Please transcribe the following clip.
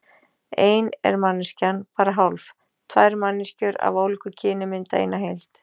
Ein er manneskjan bara hálf, tvær manneskjur af ólíku kyni mynda eina heild.